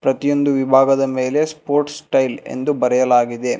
ಪ್ರತಿಯೊಂದು ವಿಭಾಗದ ಮೇಲೆ ಸ್ಪೋರ್ಟ್ ಸ್ಟೈಲ್ ಎಂದು ಬರೆಯಲಾಗಿದೆ.